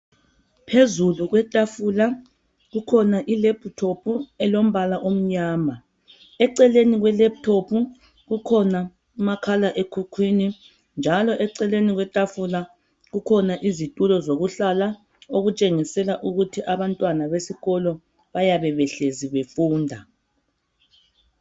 Phezulu kwetafula kukhona ilephuthophu elombala omnyama eceleni kwelephuthophu kukhona umakhala ekhukhwini njalo eceleni kwetafula kukhona izitulo zokuhlala okutshengisela ukuthi abantwana besikolo bayabe behlezi befunda.